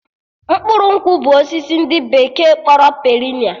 Mkpụrụ nkwụ bụ osisi ndị bekee kpọrọ perenia